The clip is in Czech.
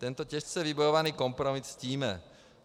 Tento těžce vybojovaný kompromis ctíme.